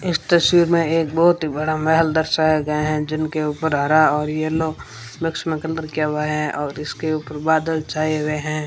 इस तस्वीर में एक बहोत ही बड़ा महल दर्शाया गया हैं जिनके ऊपर हरा और यलो लक्ष्मा कलर किया हुवा हैं और इसके ऊपर बादल छाए हुए हैं।